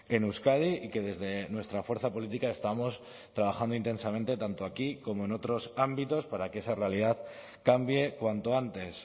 en euskadi y que desde nuestra fuerza política estamos trabajando intensamente tanto aquí como en otros ámbitos para que esa realidad cambie cuanto antes